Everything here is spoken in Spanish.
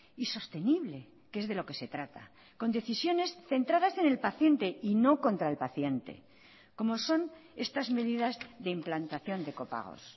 y sostenible que es de lo que se trata con decisiones centradas en el paciente y no contra el paciente como son estas medidas de implantación de copagos